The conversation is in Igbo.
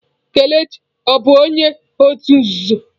Kelechi ọ bụ onye òtù nzuzo?